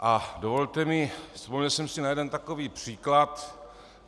A dovolte mi, vzpomněl jsem si na jeden takový příklad.